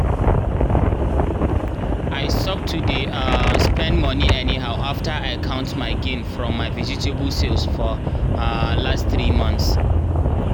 i stop to dey um spend money anyhow after i count my gain from my vegetable sales for um last three months.